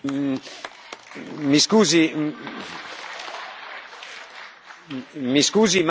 Mi scusi, ma non c'è stato bisogno che lei me lo chiedesse, perché io l'ho fatto prima del suo intervento.